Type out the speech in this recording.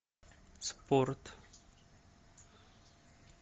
спорт